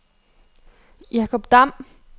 Jakob Dam